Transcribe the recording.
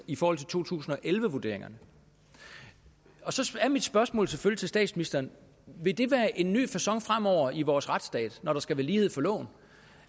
i forhold til to tusind og elleve vurderingerne så er mit spørgsmål selvfølgelig til statsministeren vil det være en ny facon fremover i vores retsstat når der skal være lighed for loven